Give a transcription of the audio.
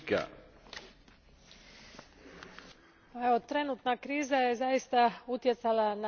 Trenutna kriza je zaista utjecala na situaciju u lokalnoj i regionalnoj samoupravi.